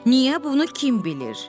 niyə bunu kim bilir?